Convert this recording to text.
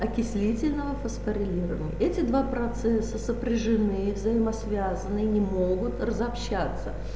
окислительного фосфорилирования эти два процесса сопряжены взаимосвязаны и не могут разобщаться